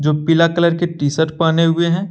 पिला कलर colour T shirt पहने हुए है।